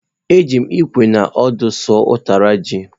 Eji m ikwe na ọdụ suo ụtara ji.